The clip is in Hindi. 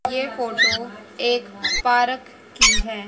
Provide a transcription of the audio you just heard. ये फोटो एक पारक की है।